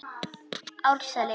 Árseli